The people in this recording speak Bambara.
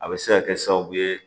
A bɛ se ka kɛ sababu ye